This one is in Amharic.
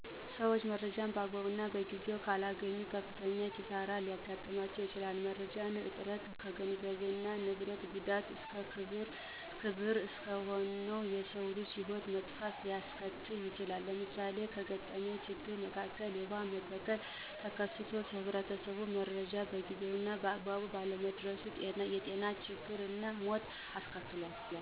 ሠዎች መረጃን በአግባቡ እና በጊዜው ካላገኙ ከፍተኛ ኪሳሪ ሊያጋጥም ይችላል። የመረጃ እጥረት ከገንዘብ እና ንብረት ጉዳት እስከ ክቡር እስከሆነው የሰው ልጅ ህይወት መጥፋት ሊያስከትል ይችላል። ለምሳሌ ከገጠመኝ ችግር መካከል የውሃ መበከል ተከስቶ ለህብረተሰቡ መረጃው በጊዜው እና በአግባቡ ባለመድረሱ የጤና ችግር እና ሞት አስከትሏል።